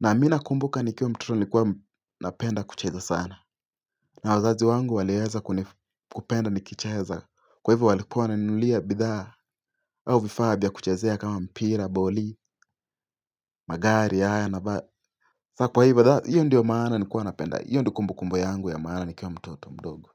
na mi nakumbuka nikiwa mtoto nilikuwa napenda kucheza sana na wazazi wangu walieza kupenda nikicheza, kwa hivyo walikuwa wananinulia bidhaa au vifaa vya kuchezea kama mpira boli magari haya na ba hiyo ndio maana nilikuwa napenda hiyo ndio kumbukumbu yangu ya maana nikiwa mtoto mdogo.